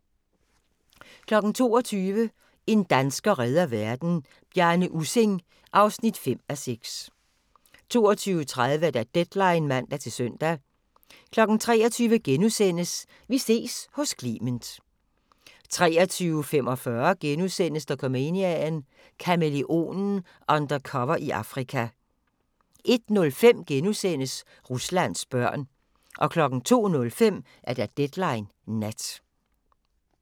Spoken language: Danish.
22:00: En dansker redder verden - Bjarne Ussing (5:6) 22:30: Deadline (man-søn) 23:00: Vi ses hos Clement * 23:45: Dokumania: Kamæleonen – undercover i Afrika * 01:05: Ruslands børn * 02:05: Deadline Nat